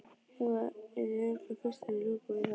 Heiðveig yrði örugglega fyrst til að ljúka við það.